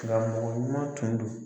Karamɔgɔɲuman tun don.